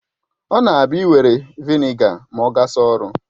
Ọ na abia iwere Vị́nịga ma ogasa ọrụ